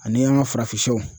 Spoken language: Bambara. Ani an ka farafinsɛw.